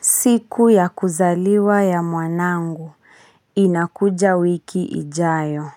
Siku ya kuzaliwa ya mwanangu, inakuja wiki ijayo.